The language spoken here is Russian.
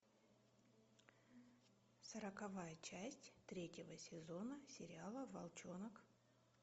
сороковая часть третьего сезона сериала волчонок